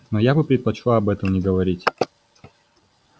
но я бы предпочла об этом не говорить